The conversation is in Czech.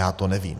Já to nevím.